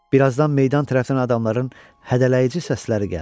Bir azdan meydan tərəfdən adamların hədələyici səsləri gəldi.